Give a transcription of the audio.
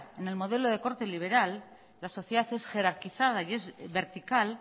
en el modelo de corte liberal la sociedad es jerarquizada y es vertical